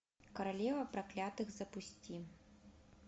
королева проклятых запусти